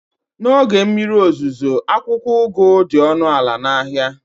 n'oge mmiri ozuzo, akwụkwọ ugu dị ọnụ ala na ahịa